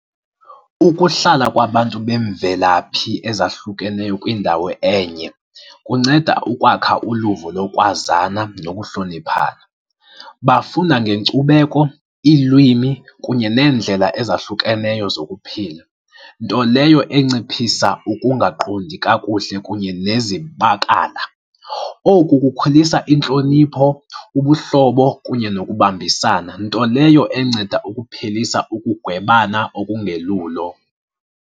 Ukuhlala kwabantu beemvelaphi ezahlukeneyo kwindawo enye kunceda ukwakha uluvo lokwazana nokuhloniphana. Bafunda ngenkcubeko, iilwimi kunye neendlela ezahlukeneyo zokuphila, nto leyo enciphisa ukungaqondi kakuhle kunye nezibakala. Oku kukhulisa intlonipho, ubuhlobo kunye ngokubambisana, nto leyo enceda ukuphelisa ukugwebana okulungelulo.